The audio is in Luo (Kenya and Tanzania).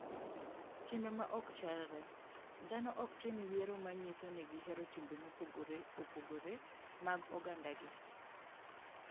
Timbe ma ok chalre: Dhano ok tim yiero ma nyiso ni gihero timbe mopogore opogore mag ogandagi.